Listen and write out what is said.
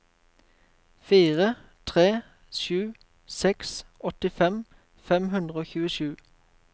fire tre sju seks åttifem fem hundre og tjuesju